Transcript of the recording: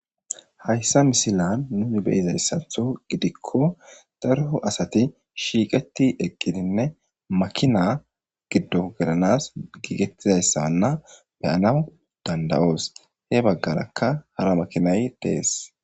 Hayssa misila nuni beyizayssatho gidikko darho asati shiiqeti eqqidinne makina giddo gelanas giigettizayssaanna beyanawu dandawoos he baggarakka hara makinay dees.